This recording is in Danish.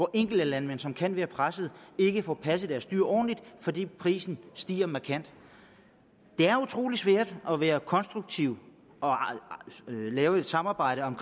er enkelte landmænd som kan være pressede og som ikke får passet deres dyr ordentligt fordi prisen stiger markant det er utrolig svært at være konstruktiv og lave et samarbejde om